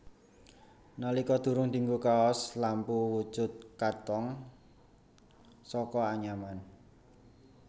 Nalika durung dinggo kaos lampu wujud katong saka anyaman